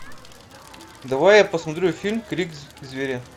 давай я посмотрю фильм крик зверя